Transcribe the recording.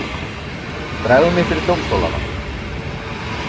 Dragðu mig fyrir dómstólana.